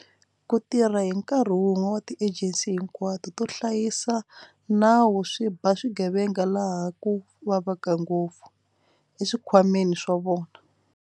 Ku tirha hi nkarhi wun'we ka tiejensi hinkwato to hlayi sa nawu swi ba swigevenga laha ku vavaka ngopfu- eswikhwameni swa swona.